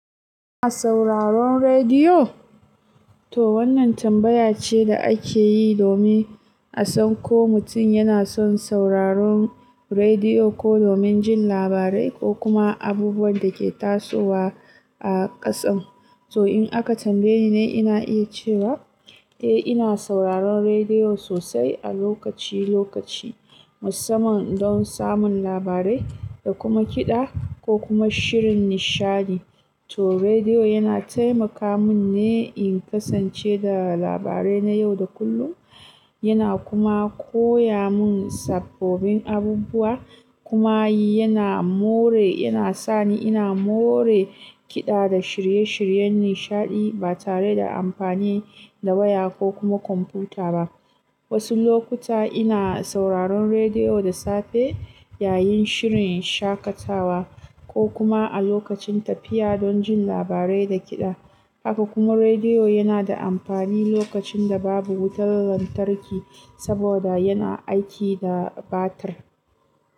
Sauraron rediyo? To wannan tambaya ce da ake yi domin a san ko mutum yana son sauraron rediyo ko domin jin labarai ko kuma abubuwan da ke tasowa a ƙasan. To in aka tambaye ni, ina iya cewa eh, ina sauraron rediyo sosai a lokaci lokaci, musamman don samun labarai da kuma kiɗa ko kuma shirin nishaɗi. To rediyo yana taimaka min ne in kasance da labarai na yau da kullum. Yana kuma koya mun sabbobin abubuwa, kuma yana more, yana sani ina more kiɗa da shirye shiryen nishaɗi ba tare da amfani da waya ko kuma kwamfuta ba. Wasu lokuta ina sauraron rediyo da safe yayin shirin shaƙatawa ko kuma a lokacin tafiya don jin labarai da kiɗa. Haka kuma rediyo yana da amfani lokacin da babu wutar lantarki saboda yana aiki da batir.